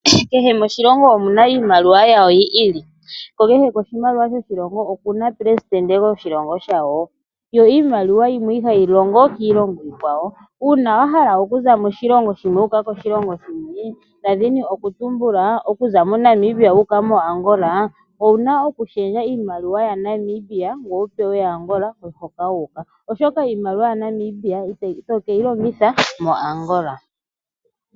Keshe moshilongo omuna iimaliwa yasho yi ili ko keshe koshimaliwa okuna omupelesitende gwasho eyili. Una wa hala okuza moshilongo shimwe wa uka koshilongo oshikwawo owuna okushendja oshimaliwa shoshilongo shoka oku shendjela koshilongo hoka toyi ,omolwashoka ito vulu oku longitha iimaliwa yoshilongo shoye.